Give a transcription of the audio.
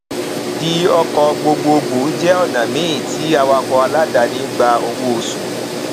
di ọkọ gbogbogbò jẹ ọnà míì tí awakọ aláàdáni gbà owó oṣù